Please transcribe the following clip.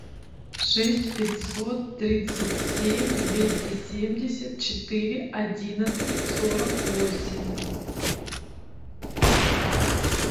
шесть пятьсот тридцать семь двести семьдесят четыре одиннадцать сорок восемь